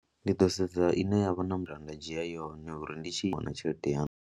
Ndi ḓo sedza ine nda nga dzhia yone uri ndi tshi wana tshelede ya.